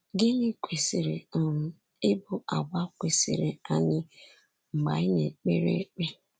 Gịnị kwesịrị um ịbụ àgwà kwesịrị anyị mgbe anyị na-ekpere ekpe?